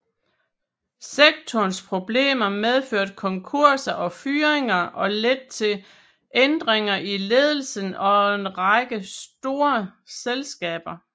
Sektorens problemer medførte konkurser og fyringer og ledte til ændringer i ledelsen af en række store selskaber